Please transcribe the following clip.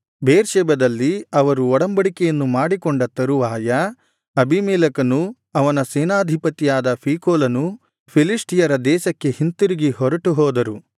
ಬೇರ್ಷೆಬದಲ್ಲಿ ಅವರು ಒಡಂಬಡಿಕೆಯನ್ನು ಮಾಡಿಕೊಂಡ ತರುವಾಯ ಅಬೀಮೆಲೆಕನೂ ಅವನ ಸೇನಾಧಿಪತಿಯಾದ ಫೀಕೋಲನೂ ಫಿಲಿಷ್ಟಿಯರ ದೇಶಕ್ಕೆ ಹಿಂತಿರುಗಿ ಹೊರಟು ಹೋದರು